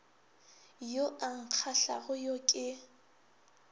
yo a nkgahlago yo ke